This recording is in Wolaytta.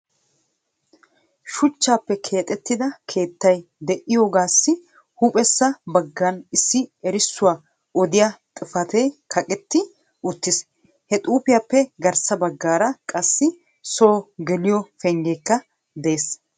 Shuchchappe keexxetida keettay de'iyaagassi huuphphesa baggan issi erissuwa odiyaa xifatee kaqqeti uttiis. Ha xuufiyaappe garssa baggaara qassi so geliyo penggekka de'ees.